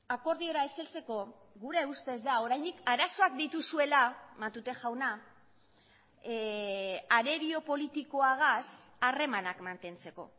akordiora ez heltzeko gure ustez da oraindik arazoak dituzuela matute jauna arerio politikoagaz harremanak mantentzeko